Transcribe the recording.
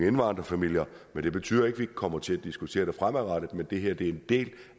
indvandrerfamilier det betyder ikke ikke kommer til at diskutere det fremadrettet men det her er en del